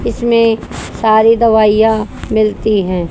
इसमें सारी दवाइयां मिलती हैं।